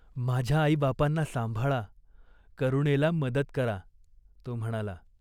माझ्या आईबापांना सांभाळा, करुणेला मदत करा." तो म्हणाला.